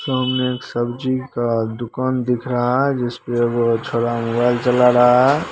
सामने एक सब्जी का दुकान दिख रहा है जिसपे वो छोड़बा मोबाइल चला रहा हैं।